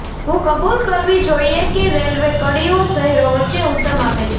હું કબૂલ કરવી જોઈએ કે રેલવે કડીઓ શહેરો વચ્ચે ઉત્તમ આપે છે